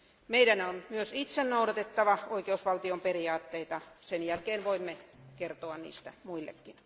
Meidän on myös itse noudatettava oikeusvaltion periaatteita, sen jälkeen voimme kertoa niistä muillekin.